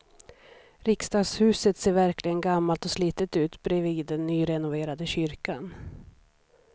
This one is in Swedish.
Riksdagshuset ser verkligen gammalt och slitet ut bredvid den nyrenoverade kyrkan.